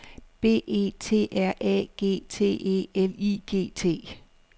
B E T R A G T E L I G T